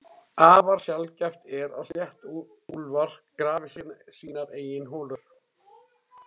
Afar sjaldgæft er að sléttuúlfar grafi sínar eigin holur.